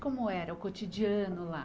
Como era o cotidiano lá?